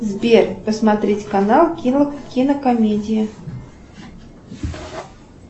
сбер посмотреть канал кинокомедия